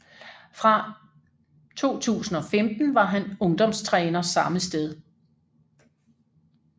Fra 2015 var han ungdomstræner samme sted